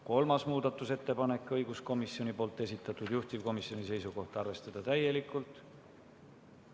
Kolmaski muudatusettepanek on õiguskomisjoni esitatud, juhtivkomisjoni seisukoht on arvestada seda täielikult.